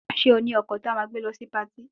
Ṣé o ní ọkọ̀ tí a máa gbé lọ sí patí